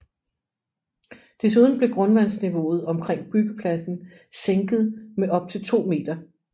Desuden blev grundvandsniveauet omkring byggepladsen sænket med op til 2 meter